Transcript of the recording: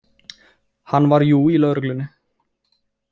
Hann var jú í lögreglunni.